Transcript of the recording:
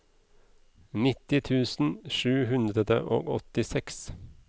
nitti tusen sju hundre og åttiseks